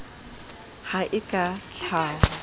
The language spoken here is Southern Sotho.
ha e ka ha ho